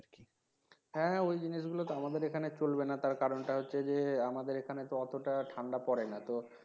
হ্যাঁ হ্যাঁ ওই জিনিসগুলো তো আমাদের এখানে চলবে না কারণটা হচ্ছে যে আমাদের এখানে তো অতটা ঠান্ডা পরে না